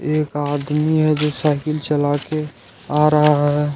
एक आदमी है जो साइकिल चला के आ रहा है।